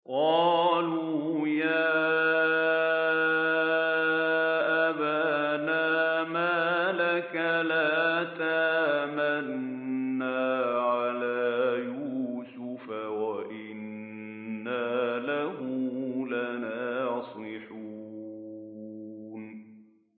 قَالُوا يَا أَبَانَا مَا لَكَ لَا تَأْمَنَّا عَلَىٰ يُوسُفَ وَإِنَّا لَهُ لَنَاصِحُونَ